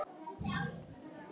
Jörðin er móðir þess og faðir.